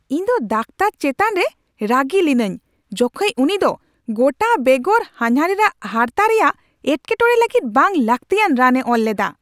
ᱤᱧ ᱫᱚ ᱫᱟᱠᱚᱛᱟᱨ ᱪᱮᱛᱟᱱ ᱨᱮ ᱨᱟᱹᱜᱤ ᱞᱤᱱᱟᱹᱧ, ᱡᱚᱠᱷᱮᱡ ᱩᱱᱤ ᱫᱚ ᱜᱚᱴᱟ ᱵᱮᱜᱚᱨ ᱦᱟᱱᱦᱟᱨᱤᱧ ᱟᱜ ᱦᱟᱨᱛᱟ ᱨᱮᱭᱟᱜ ᱮᱴᱠᱮᱴᱚᱬᱮ ᱞᱟᱹᱜᱤᱫ ᱵᱟᱝ ᱞᱟᱹᱠᱛᱤᱭᱟᱱ ᱨᱟᱱᱮ ᱚᱞ ᱞᱮᱫᱟ ᱾